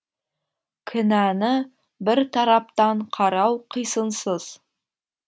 кінәні бір тараптан қарау қисынсыз